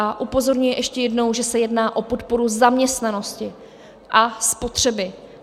A upozorňuji ještě jednou, že se jedná o podporu zaměstnanosti a spotřeby.